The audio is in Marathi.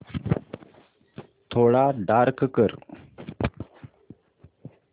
थोडा डार्क कर